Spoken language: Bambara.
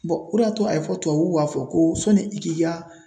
o de y'a to a ye fɔ tubabuw b'a fɔ ko sɔni i k'i ka